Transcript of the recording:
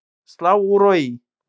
Slá úr og í